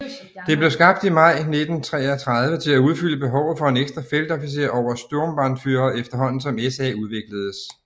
Det blev skabt i maj 1933 til at udfylde behovet for en ekstra feltofficer over Sturmbannführer efterhånden som SA udvikledes